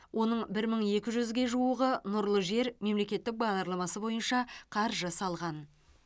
оның бір мың екі жүзге жуығы нұрлы жер мемлекеттік бағдарламасы бойынша қаржы салған